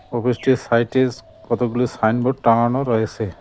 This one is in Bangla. অফিসটির সাইটেস্ট কতগুলি সাইন বোর্ড টাঙানো রয়েছে।